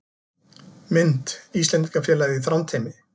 Mynd: Íslendingafélagið í Þrándheimi